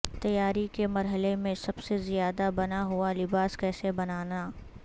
تیاری کے مرحلے میں سب سے زیادہ بنا ہوا لباس کیسے بنانا